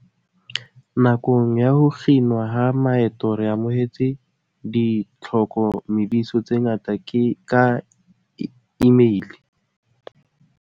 "Nakong ya ho kginwa ha maeto re amohetse ditlhoko mediso tse ngata ka imeile."